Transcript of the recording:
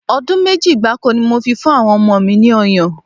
Ọdún méjì gbáko ni mo máa fi ń fún àwọn ọmọ mi ọyàn